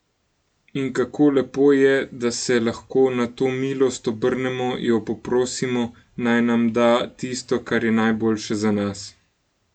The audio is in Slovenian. In kako lepo je, da se lahko na to milost obrnemo, jo poprosimo, naj nam da tisto, kar je najboljše za nas.